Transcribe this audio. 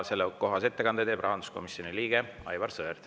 Sellekohase ettekande teeb rahanduskomisjoni liige Aivar Sõerd.